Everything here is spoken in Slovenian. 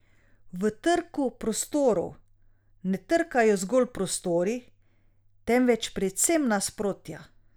V Trku prostorov ne trkajo zgolj prostori, temveč predvsem nasprotja.